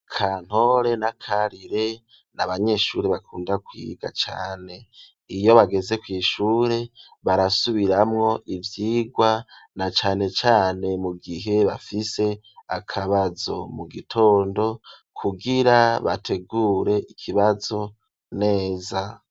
Kantore na Karire n'abanyeshuri bakunda kwiga cane iyo bageze kw'ishure barasubiramwo ivyigwa na cane cane mu gihe bafise akabazo mu gitondo kugira bategure ikibazo neza.